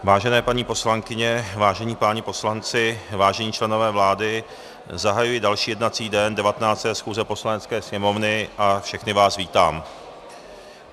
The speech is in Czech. Vážené paní poslankyně, vážení páni poslanci, vážení členové vlády, zahajuji další jednací den 19. schůze Poslanecké sněmovny a všechny vás vítám.